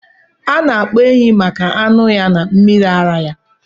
Ana akpa ehi maka anụ ya na mmiri ara ya.